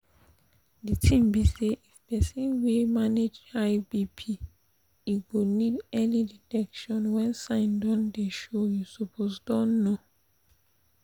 the tin be sayif persin wan manage high bp e go need early detection when sign don dey show you suppose don know